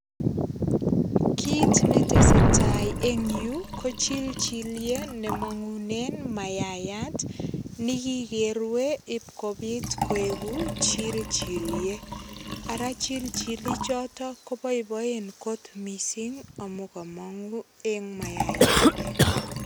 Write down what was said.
Kit netesetai eng yu ko chilchilyet nemammngune mayayat. Ne kikerue ipkopit koegu chilchilyet. Ara chilchilyechoto koboiboen mising amu kamangu eng mayayande.